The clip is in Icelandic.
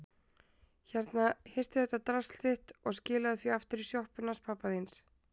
Hérna, hirtu þetta drasl þitt og skilaðu því aftur í sjoppuna hans pabba þíns.